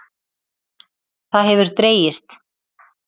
Það hefur dregist.